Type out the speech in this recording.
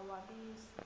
awabizi